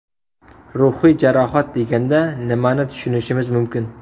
Ruhiy jarohat deganda nimani tushunishimiz mumkin?